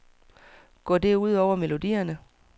Går det ud over melodierne?